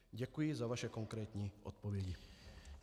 Děkuji za vaše konkrétní odpovědi.